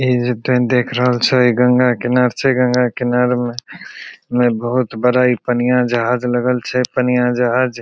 इ जे तोहिन देख रहल छ इ गंगा किनार छे गंगा किनार में में बहुत बड़ा इ पनिया जहाज लगल छई पनिया जहाज --